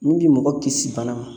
Mun bi mɔgɔ kisi bana ma